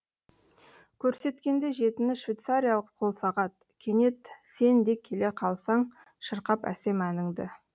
көрсеткенде жетіні швецариялық қолсағат кенет сен де келе қалсаң шырқап әсем әніңді